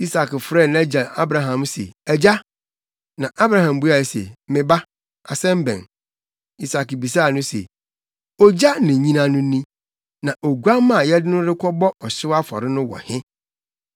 Isak frɛɛ nʼagya Abraham se, “Agya!” Na Abraham buae se, “Me ba, asɛm bɛn?” Isak bisaa no se, “Ogya ne nnyina no ni, na oguamma a yɛde no rekɔbɔ ɔhyew afɔre no wɔ he?”